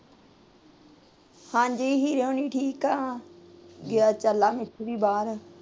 ਹਾਂਜੀ ਹੀਰੇ ਹੋਨੀ ਠੀਕ ਆ ਬਾਹਰ ਐ